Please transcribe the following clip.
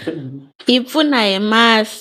karhi yi pfuna hi masi.